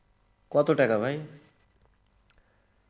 কত টাকা ভাই?